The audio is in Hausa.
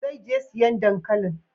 Zai je siyan dankalin?